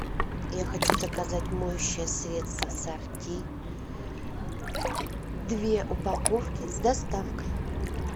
я хочу заказать моющее средство сорти две упаковки с доставкой